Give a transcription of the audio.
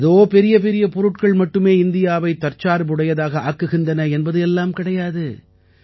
ஏதோ பெரியபெரிய பொருட்கள் மட்டுமே இந்தியாவை தற்சார்புடையதாக ஆக்குகின்றன என்பது எல்லாம் கிடையாது